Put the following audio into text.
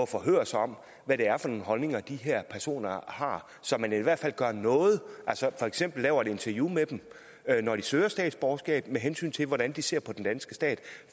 forhøre sig om hvad det er for nogle holdninger de her personer har så man i hvert fald gør noget altså for eksempel lave et interview med dem når de søger statsborgerskab med hensyn til hvordan de ser på den danske stat